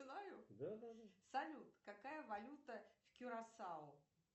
салют какая валюта в кюрасау